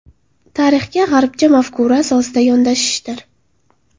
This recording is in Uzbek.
Tarixga g‘arbcha mafkura asosida yondashishdir.